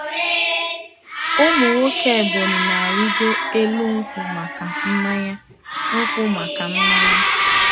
Ụmụ nwoke Ebonyi na-arigo elu nkwu maka mmanya. nkwu maka mmanya.